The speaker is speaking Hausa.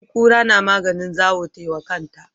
In kura na maganin zawo tai wa kanta.